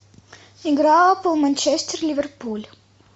игра апл манчестер ливерпуль